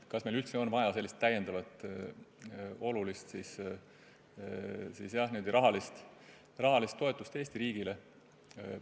Kas meil üldse on vaja sellist täiendavat suurt rahalist toetust Eesti riigile?